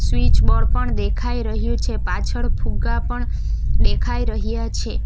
Switch board પણ દેખાઈ રહ્યું છે પાછળ ફુગ્ગા પણ દેખાઈ રહ્યા છે.